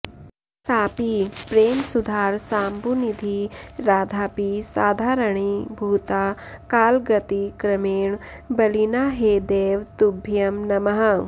सापि प्रेमसुधारसाम्बुनिधी राधापि साधारणी भूता कालगतिक्रमेण बलिना हे दैव तुभ्यं नमः